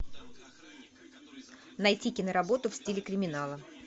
найти киноработу в стиле криминала